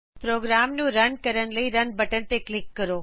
programme ਨੂੰ run ਕਰਨ ਲਈ ਰਨ ਬਟਨ ਤੇ ਕਲਿਕ ਕਰੋ